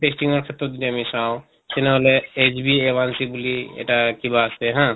testing ৰ ক্ষেত্ৰত যদি আমি চাওঁ তেনেহলে বুলি এটা কিবা আছে হা